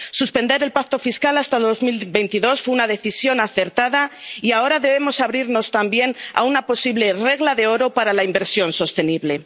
Suspender el pacto fiscal hasta 2022 fue una decisión acertada y ahora debemos abrirnos también a una posible regla de oro para la inversión sostenible.